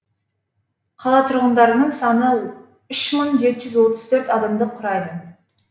қала тұрғындарының саны үш мың жеті жүз отыз төрт адамды құрайды